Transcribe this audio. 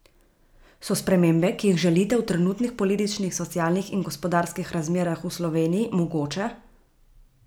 So spremembe, ki jih želite, v trenutnih političnih, socialnih in gospodarskih razmerah v Sloveniji mogoče?